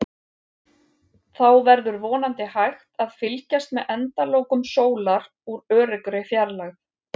Þá verður vonandi hægt að fylgjast með endalokum sólar úr öruggri fjarlægð.